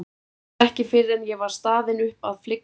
Það var ekki fyrr en ég var staðin upp að flygsurnar hurfu.